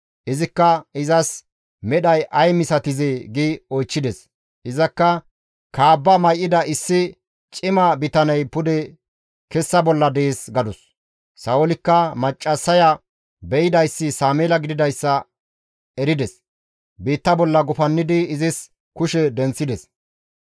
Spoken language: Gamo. Izikka, «Izas medhay ay misatizee?» gi oychchides. Izakka, «Kaabba may7ida issi cima bitaney pude kessa bolla dees» gadus. Sa7oolikka maccassaya be7idayssi Sameela gididayssa erides; biitta bolla gufannidi izis kushe denththides.